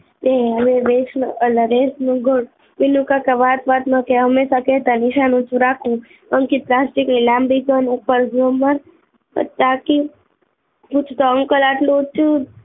એ એનો અલ્હેરસ મુગટ વિનુકાકા વાત વાત માં કે હમેસા કે તા નિશાનું તો રાખવું પંખી ની લાંબી ઘન ગુમર તાકી